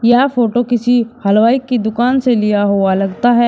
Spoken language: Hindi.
यह फोटो किसी हलवाई की दुकान से लिया हुआ लगता है।